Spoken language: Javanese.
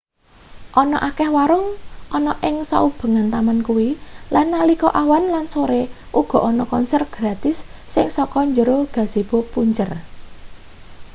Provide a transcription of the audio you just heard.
ana akeh warung ana ing saubengan taman kuwi lan nalika awan lan sore uga ana konser gratis sing saka njero gazebo punjer